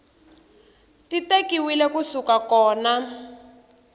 ti tekiwile ku suka kona